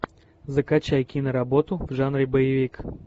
закачай киноработу в жанре боевик